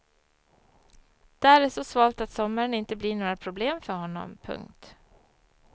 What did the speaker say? Där är så svalt att sommaren inte blir några problem för honom. punkt